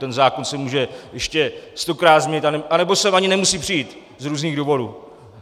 Ten zákon se může ještě stokrát změnit, anebo sem ani nemusí přijít z různých důvodů.